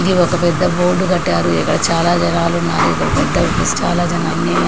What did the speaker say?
ఇది ఒక పెద్ద బోర్డు కట్టారు. ఇక్కడ చాలా జనాలు ఉన్నారు. ఇక్కడ పెద్ద ప్లేస్ ఉంది. అన్ని పెద్ద పెద్ద చాలా జనాలు ఉన్నారు--